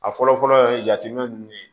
A fɔlɔ fɔlɔ ye jateminɛ nunnu ye